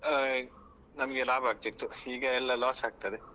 ಆ ನಮ್ಗೆ ಲಾಭ ಆಗ್ತಾ ಇತ್ತು ಈಗ ಎಲ್ಲ loss ಆಗ್ತದೆ.